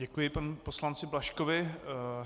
Děkuji panu poslanci Blažkovi.